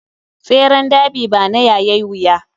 Tseren derby bana yayai wuya.